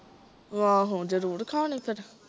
ਆਹੋ ਜਰੂਰ ਖਾਣੀ ਫਿਰ